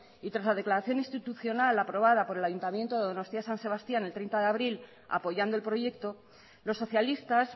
y tras la declaración institucional aprobada por el ayuntamiento de donostia san sebastián el treinta de abril apoyando el proyecto los socialistas